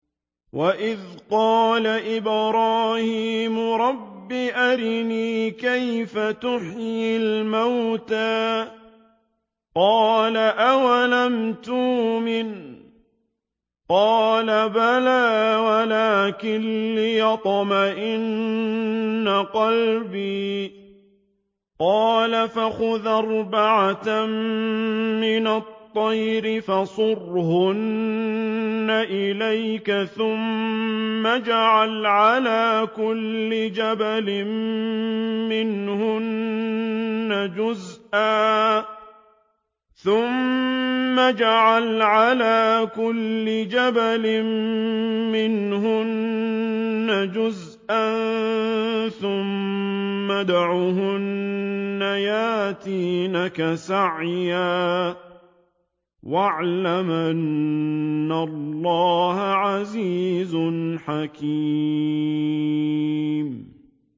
وَإِذْ قَالَ إِبْرَاهِيمُ رَبِّ أَرِنِي كَيْفَ تُحْيِي الْمَوْتَىٰ ۖ قَالَ أَوَلَمْ تُؤْمِن ۖ قَالَ بَلَىٰ وَلَٰكِن لِّيَطْمَئِنَّ قَلْبِي ۖ قَالَ فَخُذْ أَرْبَعَةً مِّنَ الطَّيْرِ فَصُرْهُنَّ إِلَيْكَ ثُمَّ اجْعَلْ عَلَىٰ كُلِّ جَبَلٍ مِّنْهُنَّ جُزْءًا ثُمَّ ادْعُهُنَّ يَأْتِينَكَ سَعْيًا ۚ وَاعْلَمْ أَنَّ اللَّهَ عَزِيزٌ حَكِيمٌ